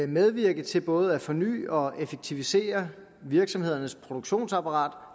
medvirke til både at forny og effektivisere virksomhedernes produktionsapparat